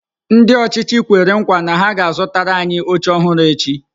Ndị ọchịchị kwere nkwa na ha ga-azụtara anyị oche ọhụrụ echi.